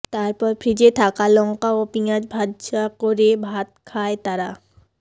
তারপর ফ্রিজে থাকা লঙ্কা ও পিঁয়াজ ভাজা করে ভাত খায় তারা